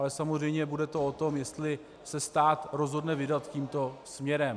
Ale samozřejmě to bude o tom, jestli se stát rozhodne vydat tímto směrem.